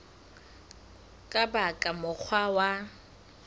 ka ba ka mokgwa wa